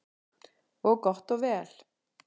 Og gott og vel.